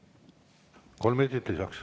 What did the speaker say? Kolm minutit lisaks.